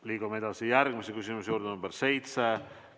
Liigume edasi järgmise küsimuse juurde, küsimus nr 7.